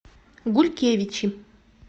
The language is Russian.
гулькевичи